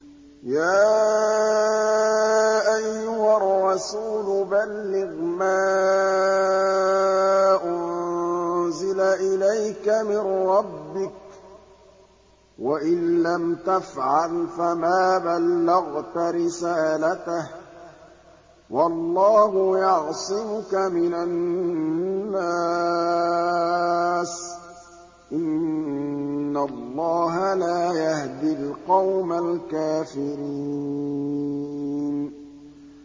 ۞ يَا أَيُّهَا الرَّسُولُ بَلِّغْ مَا أُنزِلَ إِلَيْكَ مِن رَّبِّكَ ۖ وَإِن لَّمْ تَفْعَلْ فَمَا بَلَّغْتَ رِسَالَتَهُ ۚ وَاللَّهُ يَعْصِمُكَ مِنَ النَّاسِ ۗ إِنَّ اللَّهَ لَا يَهْدِي الْقَوْمَ الْكَافِرِينَ